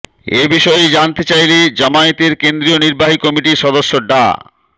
এ বিষয়ে জানতে চাইলে জামায়াতের কেন্দ্রীয় নির্বাহী কমিটির সদস্য ডা